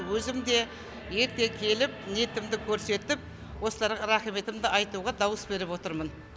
өзім де ерте келіп ниетімді көрсетіп осыларға рахметімді айтуға дауыс беріп отырмын